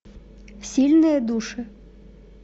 сильные души